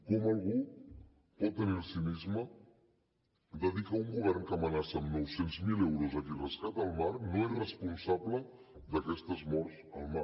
com algú pot tenir el cinisme de dir que un govern que amenaça amb nou cents miler euros a qui rescata al mar no és responsable d’aquestes morts al mar